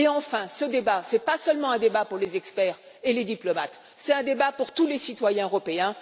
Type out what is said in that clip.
Enfin, ce débat n'est pas seulement un débat pour les experts et les diplomates, c'est un débat pour tous les citoyens européens.